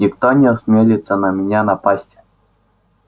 никто не осмелится на меня напасть